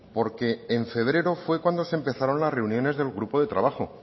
porque en febrero fue cuando se empezaron las reuniones del grupo de trabajo